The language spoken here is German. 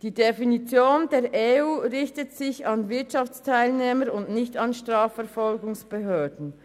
Die Definition der EU richtet sich an Wirtschaftsteilnehmer und nicht an Strafverfolgungsbehörden.